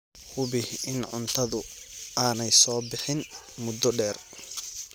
Hubi in cuntadu aanay soo bixin muddo dheer.